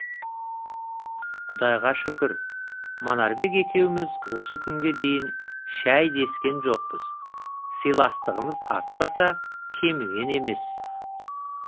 құдайға шүкір манарбек екеуміз осы күнге дейін шәй дескен жоқпыз сыйластығымыз артпаса кеміген емес